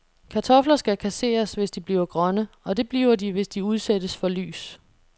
Kartofler skal kasseres, hvis de bliver grønne, og det bliver de, hvis de udsættes for lys.